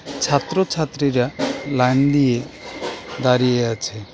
ছাত্রছাত্রীরা লাইন দিয়ে দাঁড়িয়ে আছে।